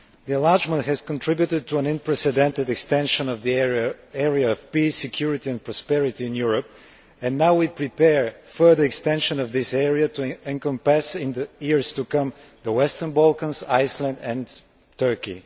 Enlargement has contributed to an unprecedented extension of the area of peace, security and prosperity in Europe and now we prepare the further extension of this area to encompass in the years to come the western Balkans, Iceland and Turkey.